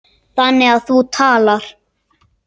Þannig að þú talar.